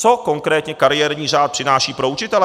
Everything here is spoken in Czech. Co konkrétně kariérní řád přináší pro učitele?